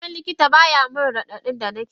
Nama likitan bayanin radadin da nakeji.